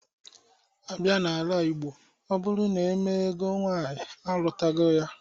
A bịa n'ala Igbo, ọ bụrụ na emee ego nwaanyị, alụtago ya.